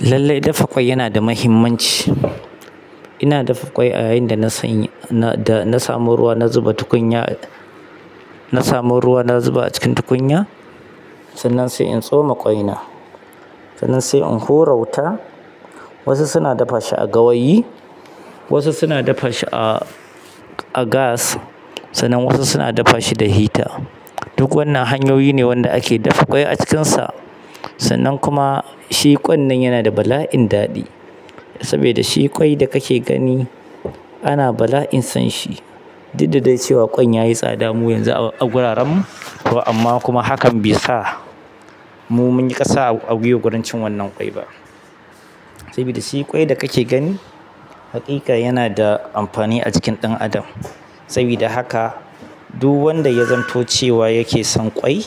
Lallai dafa ƙwai yana da mahimmanci. Ina dafa ƙwai a yayin da na sanya, da na samu ruwa na zuba tukunya, na samu ruwa na zuba a cikin tukunya. Sannan sai in tsoma ƙwai na, sannan sai in hura wuta. Wasu suna dafa shi a gawayi, wasu suna dafa shi a, a gas, sannan wasu suna dafa shi da hita. Duk wannan hanyoyi ne wanda ake dafa ƙwai a cikinsa. Sannan kuma shi kwan nan yana da bala'in daɗi, sabida shi kawai da kake gani ana bala'in sonshi duk da cewa kwan yayi tsada a wurarenmu amma kuma hakan bai sa mu mun yi kasa a gwiwa wajen cin wannan kwai ba saboda shi ƙwai da kake gani, haƙiƙa yana da amfani a jikin ɗan adam. Saboda haka duk wanda ya zamto cewa yake son ƙwai,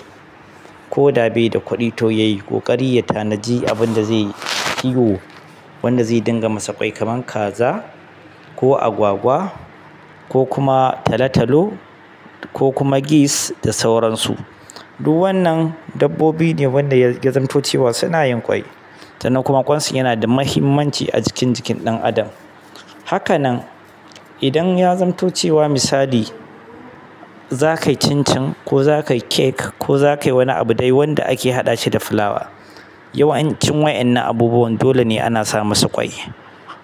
ko da bai da kuɗi to yayi ƙoƙari ya tanadi abin da zai yi kiwo, wanda zai dinga masa ƙwai kaman kaza ko agwagwa ko kuma talo-talo ko kuma gis da sauransu. Duk wannan dabbobi ne da ya zamto cewa suna yin kwai sannan kuma ƙwansu yana da muhimmanci a jikin jikin ɗan adam. Haka nan idan ya zanto cewa misali zaka yi cin-cin, ko zaka yi cake, ko zaka yi wani abu dai wanda ake haɗashi da fulawa yawanci waɗannan abubuwan dole ne ana sa musu ƙwai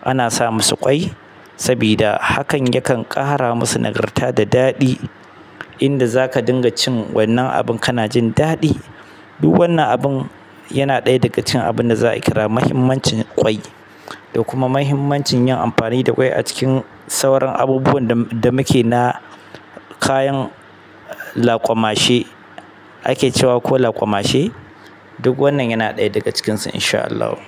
ana sa masu ƙwai saboda hakan yakan ƙara masu nagarta da daɗi. Abinda zaka dinga cin wannan abun kana jin daɗi. Duk wannan abun yana ɗaya daga cikin abinda za'a kirawo muhimmancin ƙwai. Da kuma mahimmancin yin amfani da ƙwai a cikin sauran abubuwan da muke na. Kayan laƙwamashe, ake cewa ko laƙwamashe. Duk wannan yana ɗaya daga cikinsu. Insha Allahu.